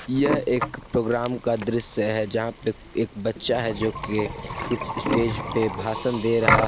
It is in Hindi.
यह एक प्रोग्राम का दृश्य है जहां पे एक बच्चा है जोकि कुछ स्टेज पे भाषण दे रहा--